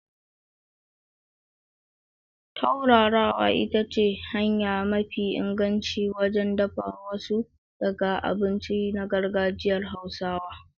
Turarawa ita ce hanya mafi inganci wajen dafa wasu daga abinci na gargajiyar Hausawa.